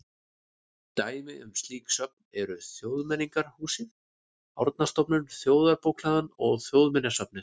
Dæmi um slík söfn eru Þjóðmenningarhúsið, Árnastofnun, Þjóðarbókhlaðan og Þjóðminjasafnið.